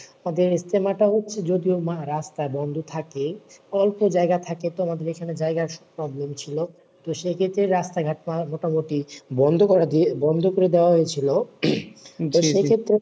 আর এই ইজতেমাটা হয় যদিও রাস্তা বন্ধ থাকে, অল্প যায়গা থাকে তো আমাদের এইখানে জায়গার problem ছিল। তো সেই ক্ষেত্রে রাস্তাঘাট পার মোটামুটি বন্ধ করে দিয়ে বন্ধ করে দেওয়া হয়েছিল।